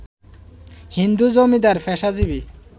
হিন্দু জমিদার, পেশাজীবী